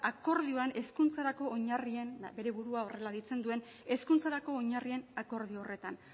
akordioan hezkuntzarako oinarrien bere burua horrela deitzen duen hezkuntzarako oinarrien akordio horretan